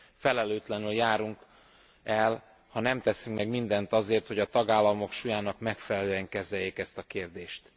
Felelőtlenül járunk el, ha nem teszünk meg mindent azért, hogy a tagállamok súlyának megfelelően kezeljék ezt a kérdést.